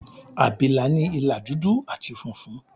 Àbìlà ní ìlà dúdú àti funfun.